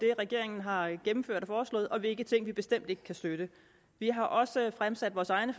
regeringen har gennemført og foreslået og hvilke ting vi bestemt ikke kan støtte vi har også fremsat vores egne